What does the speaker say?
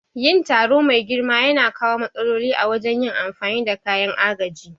Yin taro mai girma yana kawo matsaloli a wajen yin amfani da kayan agaji.